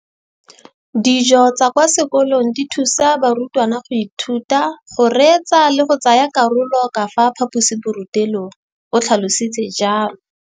Dijo tsa kwa sekolong dithusa barutwana go ithuta, go reetsa le go tsaya karolo ka fa phaposiborutelong, o tlhalositse jalo.